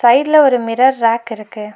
சைட்ல ஒரு mirror rack இருக்கு.